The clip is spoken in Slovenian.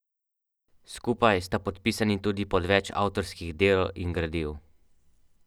Bernardić ni.